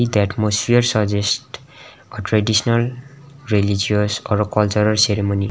the atmosphere suggests a traditional religious or a cultural ceremony.